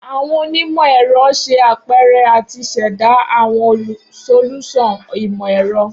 Awọn onimọ-ẹrọ ṣe apẹrẹ ati ṣẹda awọn solusan imọ-ẹrọ